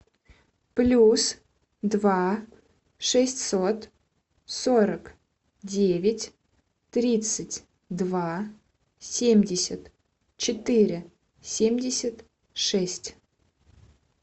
плюс два шестьсот сорок девять тридцать два семьдесят четыре семьдесят шесть